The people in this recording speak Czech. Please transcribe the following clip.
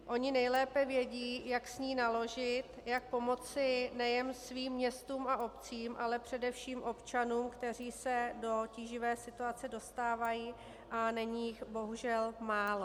Oni nejlépe vědí, jak s ní naložit, jak pomoci nejen svým městům a obcím, ale především občanům, kteří se do tíživé situace dostávají, a není jich bohužel málo.